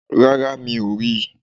Rárá, mi ò ri